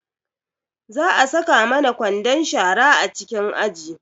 Za a saka mana kwandon shara a cikin aji